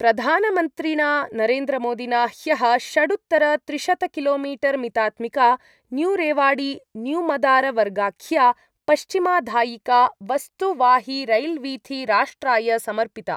प्रधानमन्त्रिणा नरेन्द्रमोदिना ह्यः षडुत्तरत्रिशतकिलोमीटर्मितात्मिका न्यूरेवाड़ीन्यूमदारवर्गाख्या पश्चिमाधायिका वस्तुवाहिरैल्वीथी राष्ट्राय समर्पिता।